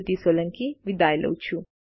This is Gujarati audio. જોડાવા બદ્દલ આભાર